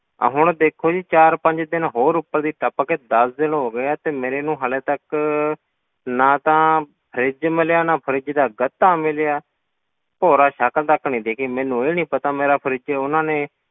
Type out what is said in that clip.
ਆਹ ਹੁਣ ਦੇਖੋ ਜੀ ਚਾਰ ਪੰਜ ਦਿਨ ਹੋਰ ਉੱਪਰ ਦੀ ਟੱਪ ਗਏ, ਦਸ ਦਿਨ ਹੋ ਗਏ ਆ ਤੇ ਮੈਨੂੰ ਹਾਲੇ ਤੱਕ ਨਾ ਤਾਂ fridge ਮਿਲਿਆ ਨਾ fridge ਦਾ ਗੱਤਾ ਮਿਲਿਆ, ਭੋਰਾ ਸ਼ਕਲ ਤੱਕ ਨੀ ਦਿੱਖੀ ਮੈਨੂੰ ਇਹ ਨੀ ਪਤਾ ਮੇਰਾ fridge ਉਹਨਾਂ ਨੇ